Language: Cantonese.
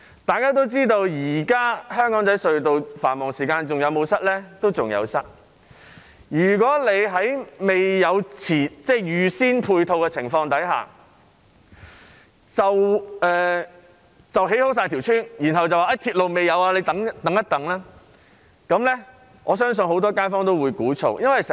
大家也知道，現時香港仔隧道在繁忙時間仍然塞車，如果在沒有預先安排配套的情況下，先建成屋邨，而未有鐵路，只叫市民等待，我相信很多街坊都會鼓噪。